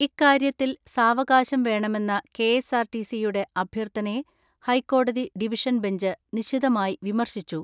ഇക്കാര്യത്തിൽ സാവകാശം വേണമെന്ന കെ.എസ്.ആർ.ടി.സി യുടെ അഭ്യർത്ഥനയെ ഹൈക്കോടതി ഡിവിഷൻ ബഞ്ച് നിശിതമായി വിമർശിച്ചു.